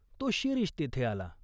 तो शिरीष तेथे आला.